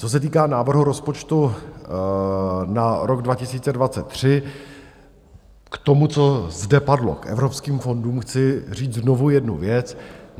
Co se týká návrhu rozpočtu na rok 2023, k tomu, co zde padlo, k evropským fondům chci říct znovu jednu věc.